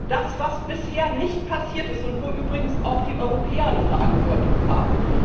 Das, was bisher nicht passiert ist und wo übrigens auch die Europäer eine Verantwortung haben.